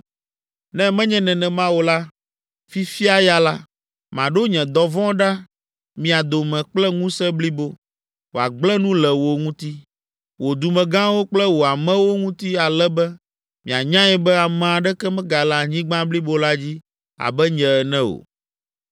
Ne menye nenema o la, fifia ya la, maɖo nye dɔvɔ̃ ɖe mia dome kple ŋusẽ blibo, wòagblẽ nu le wò ŋutɔ, wò dumegãwo kple wò amewo ŋuti ale be mianyae be ame aɖeke megale anyigba blibo la dzi abe nye ene o.